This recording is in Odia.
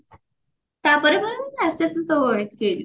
ତାପରେ ପରେ ପୁଣି ଆସ୍ତେ ଆସ୍ତେ ସବୁ ଠିକ